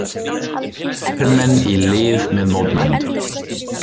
Hermenn í lið með mótmælendum